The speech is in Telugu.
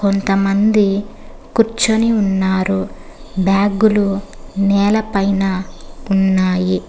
కొంతమంది కూర్చుని ఉన్నారు బ్యాగులు నేలపైన ఉన్నాయి.